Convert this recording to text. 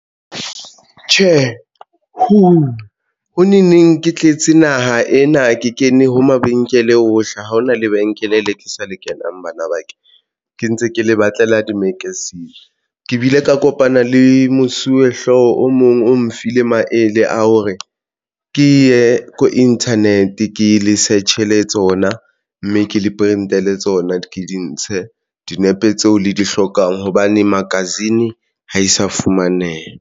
Tjhe, hoo! ho neng neng ke tletse naha ena, ke kene ho mabenkele ohle, ha hona lebenkele le ke sa le kenang, bana ba ke ke ntse ke le batlela di-magazine ke bile ka kopana le mosuwehlooho o mong o mfile maele a hore ke ye ko Internet ke le search e le tsona, mme ke le pente le tsona di ke di ntshe dinepe tseo le di hlokang hobane magazine ha e sa fumaneha.